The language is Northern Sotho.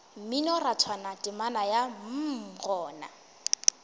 mminorathwana temana ya mm gona